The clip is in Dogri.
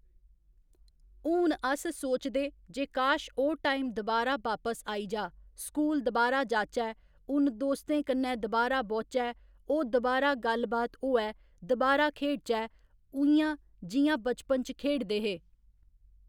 हून अस सोचदे जे काश ओह् टाइम दबारा बापस आई जा स्कूल दबारा जाचै उ'न दोस्तें कन्नै दबारा बौह्चै ओह् दबारा गल्ल बात होऐ दबारा खेढचै उइयां जि'यां बचपन च खेढदे हे